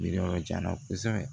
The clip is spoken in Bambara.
Yiri yɔrɔ jan kosɛbɛ